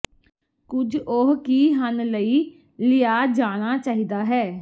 ਕੁਝ ਉਹ ਕੀ ਹਨ ਲਈ ਲਿਆ ਜਾਣਾ ਚਾਹੀਦਾ ਹੈ